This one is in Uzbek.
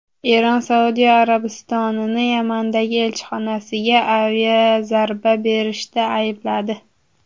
Eron Saudiya Arabistonini Yamandagi elchixonasiga aviazarba berishda aybladi.